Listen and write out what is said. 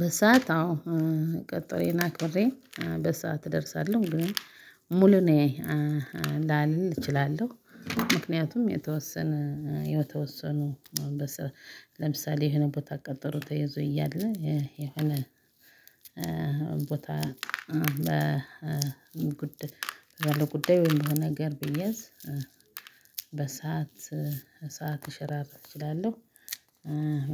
በሰአት አዎ ቀጠሮዬን አክብሬ በሰአት እደርሳለሁ ግን ሙሉ ነኝ እንዳልል እችላለሁ። ምክንያቱም የተወሰነ የተወሰኑ ለምሳሌ የሆነ ቦታ ቀጠሮ ተይዞ እያለ የሆነ ቦታ ባለ ጉዳይ ወይም በሆነ ነገር ብያዝ። በሰአት ሰዓት ልሸራርፍ እችላለሁ።